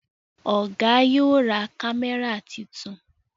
Oga yóò ra kámẹ́rà títún.